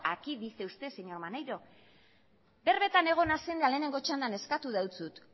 aquí dice usted señor maneiro berbetan egon naizen eta lehenengo txandan eskatu dizut